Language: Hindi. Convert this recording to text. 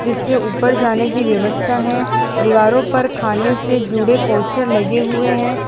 इससे ऊपर जाने की व्यवस्था है दीवारों पर खाने से जुड़े पोस्टर लगे हुए हैं।